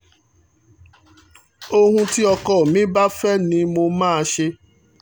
ohun tí ọkọ mi bá fẹ́ ni mo máa ṣe